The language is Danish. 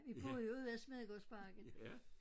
Vi boede jo ude ved Smedegårdsparken